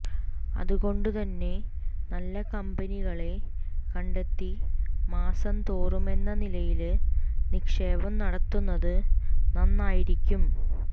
അതുകൊണ്ടുതന്നെ നല്ല കമ്പനികളെ കണ്ടെത്തി മാസംതോറുമെന്ന നിലയില് നിക്ഷേപം നടത്തുന്നത് നന്നായിരിക്കും